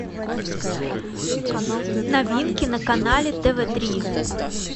новинки на канале тв три